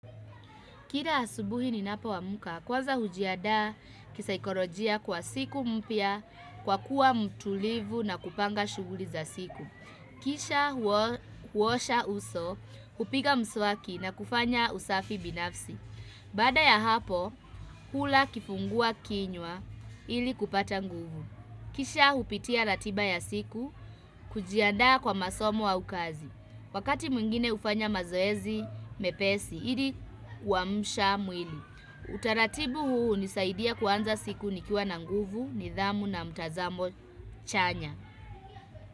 Kila asubuhi ninapo amka, kwanza hujiandaa kisaikolojia kwa siku mpya, kwa kuwa mtulivu na kupanga shughuli za siku. Kisha huosha uso, hupiga mswaki na kufanya usafi binafsi. Baada ya hapo, hula kifungua kinywa ili kupata nguvu. Kisha hupitia ratiba ya siku, kujiadaa kwa masomo au kazi. Wakati mwingine hufanya mazoezi mepesi, ili kuamsha mwili. Utaratibu huu hunisaidia kuanza siku nikiwa na nguvu, nidhamu na mtazamo chanya.